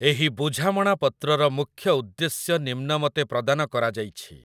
ଏହି ବୁଝମଣାପତ୍ରର ମୁଖ୍ୟ ଉଦ୍ଦେଶ୍ୟ ନିମ୍ନମତେ ପ୍ରଦାନ କରାଯାଇଛି